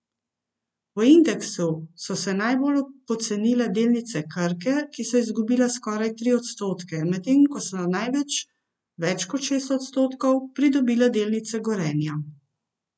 V indeksu so se najbolj pocenile delnice Krke, ki so izgubile skoraj tri odstotke, medtem ko so največ, več kot šest odstotkov, pridobile delnice Gorenja.